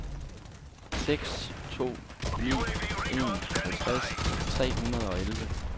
seks to ni en halvtreds tre hundrede og elleve